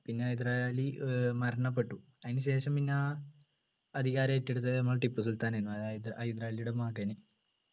പിന്നെ ഹൈദരാലി ഏർ മരണപ്പെട്ടു അതിനുശേഷം പിന്നെ അധികാര ഏറ്റെടുത്തത് നമ്മളെ ടിപ്പുസുൽത്താനായിരുന്നു അതായത് ഹൈദരാലിയുടെ മകന്